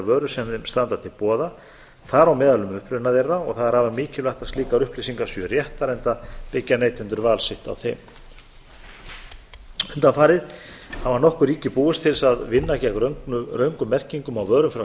vörur sem þeim standa til boða þar á meðal um uppruna þeirra og það er afar mikilvægt að slíkar upplýsingar séu réttar enda byggja neytendur val sitt á þeim undanfarið hafa nokkur ríki búist til að vinna gegn röngum merkingum á vörum frá